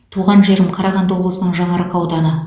туған жерім қарағанды облысының жаңаарқа ауданы